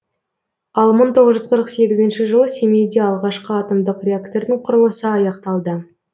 ал мың тоғыз жүз қырық сегізінші жылы семейде алғашқы атомдық реактордың құрылысы аяқталды